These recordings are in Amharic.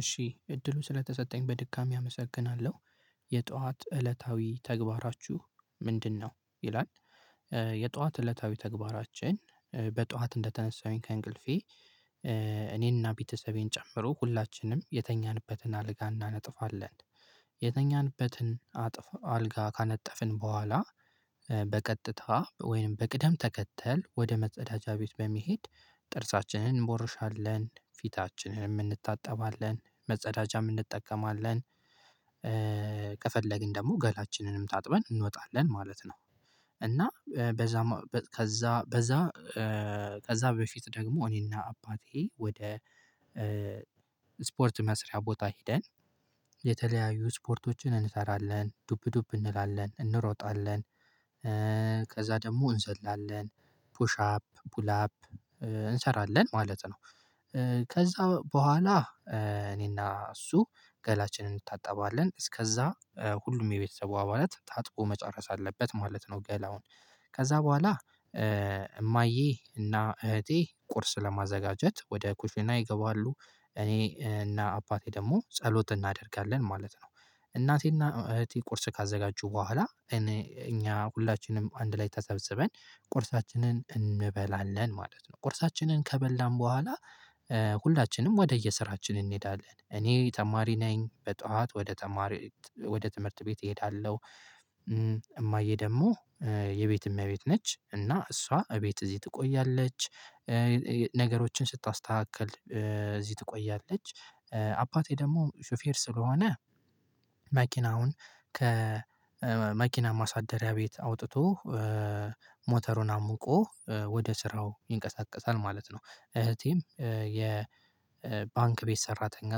እሺ እድሉ ስለተሰጠኝ በድጋሚ አመሰግናለሁ፤ "የጧት እለታዊ ተግባራችሁ ምንድነው?" ይላል። የጧት እለታዊ ተግባራችን በጧት እንደተነሳሁኝ ከእንቅልፌ እኔንና ቤተሰቤን ጨምሮ ሁላችንም የተኛንበትን አልጋ እናነጥፋለን። የተኛንበትን አጥፍ አልጋ ካነጠፍን በኋላ በቀጥታ ወይም በቅደም ተከተል ወደ መጸዳጃ ቤት በመሄድ ጥርሳችንን እንቦርሻለን፣ ፊታችንን እንታጠባለን፣ መጸዳጃም እንጠቀማለን፣ ከፈለግን ደግሞ ገላችንንም ታጥበን እንወጣለን ማለት ነው፤ እና በዛ ከዛ በዛ ከዛ በፊት ደግሞ እኔና አባቴ ወደ ስፖርት መስሪያ ቦታ ሄደን የተለያዩ ስፖርቶችን እንሰራለን። ዱብ ዱብ እንላለን፣ እንሮጣለን ከዛ ደግሞ እንዘላለን፣ ፑሽ አፕ፣ ፑል አፕ እንሰራለን ማለት ነው። ከዛ በኋላ እኔና እሱ ገላችንን እንታጠባለን እስከዛ ሁሉም የቤተሰቡ አባላት ታጥቦ መጨረስ አለበት ማለት ነው ገላውን ከዛ በኋላ እማዬ እና እህቴ ቁርስ ለማዘጋጀት ወደ ኩሽና ይገባሉ። እኔ እና አባቴ ደግሞ ጸሎት እናደርጋለን ማለት ነው። እናቴና እህቴ ቁርስ ካዘጋጁ በኋላ እኔ እኛ ሁላችንም አንድ ላይ ተሰብስበን ቁርሳችንን እንበላለን ማለት ነው። ቁርሳችንን ከበላን በኋላ ሁላችንም ወደየስራችን እንሄዳለን። እኔ ተማሪ ነኝ በጧት ወደ ተማሪ ወደ ትምህርት ቤት እሄዳለሁ። እማዬ ደግሞ የቤት እመቤት ነች እና እሷ እቤት እዚህ ትቆያለች። ነገሮችን ስታስተካክል እዚህ ትቆያለች። አባቴ ደግሞ ሹፌር ስለሆነ መኪናውን ከመኪና ማሳደሪያ ቤት አውጥቶ ሞተሩን አሙቆ ወደ ስራው ይንቀሳቀሳል ማለት ነው። እህቴም የ ባንክ ቤት ሰራተኛ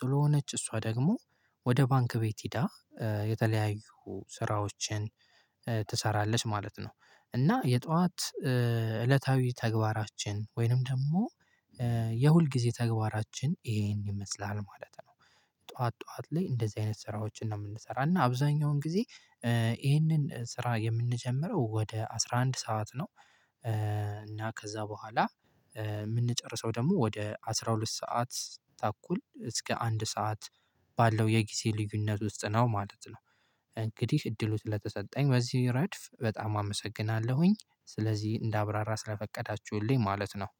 ስለሆነች እሷ ደግሞ ወደ ባንክ ቤት ሄዳ የተለያዩ ስራዎችን ትሰራለች ማለት ነው፤ እና የጠዋት እለታዊ ተግባራችን ወይንም ደግሞ የሁልጊዜ ተግባራችን ይሄን ይመስላል ማለት ነው። ጠዋት ጠዋት ላይ እንደዚህ አይነት ስራዎችን ነው የምንሰራው እና አብዛኛውን ጊዜ ይሄንን ስራ የምንጀምረው ወደ አስራ አንድ ሰዓት ነው፤ እና ከዛ በኋላ የምንጨርሰው ደግሞ ወደ አስራ ሁለት ሰዓት ተኩል እስከ አንድ ሰዓት ባለው የጊዜ ልዩነት ውስጥ ነው ማለት ነው። እንግዲህ እድሉ ስለተሰጠኝ በዚህ ረድፍ በጣም አመሰግናለሁኝ። ስለዚህ እንዳብራራ ስለፈቀዳችሁልኝ ማለት ነው።